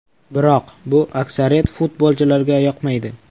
Biroq bu aksariyat futbolchilarga yoqmaydi.